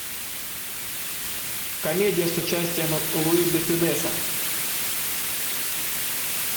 комедия с участием луи де фюнеса